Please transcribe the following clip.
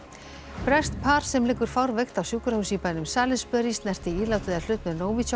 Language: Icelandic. breskt par sem liggur fárveikt á sjúkrahúsi í bænum Salisbury snerti ílát eða hlut með